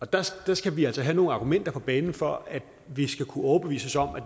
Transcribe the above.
der skal skal vi altså have nogle argumenter på banen for at vi skal kunne overbevises om at